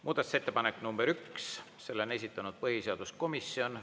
Muudatusettepanek number üks, selle on esitanud põhiseaduskomisjon.